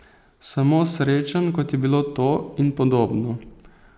Samo s srečanj, kot je bilo to, in podobno.